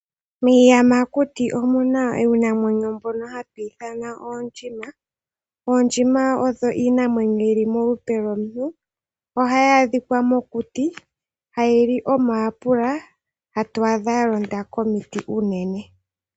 Miiyamakuti omuna iinamenyo mbyono hatu ithana oondjima . Oondjima oyo iinamenyo mbyoka yili molupe lwomuntu . Ohayi adhikwa mokuti yo ohayi li omayapula noto adha yalonda komiti unene .